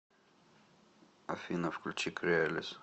афина включи креалис